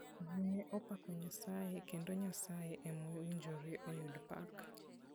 Ji ne opako Nyasaye kendo Nyasaye ema owinjore oyud pak.